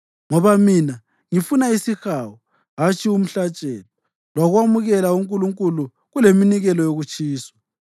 Ngoba mina ngifuna isihawu, hatshi umhlatshelo, lokwamukela uNkulunkulu kuleminikelo yokutshiswa.